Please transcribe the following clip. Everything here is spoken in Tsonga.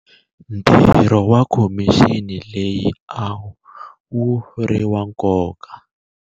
ntirho wa khomixini leyi a wu ri wa nkoka.